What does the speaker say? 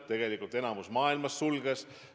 Enamik riike maailmas sulges.